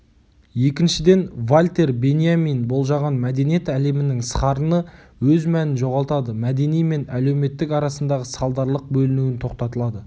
екіншіден вальтер беньямин болжаған мәдениет әлемінің сарыны өз мәнін жоғалтады мәдени мен әлеуметтік арасындағы салдарлық бөліну тоқтатылады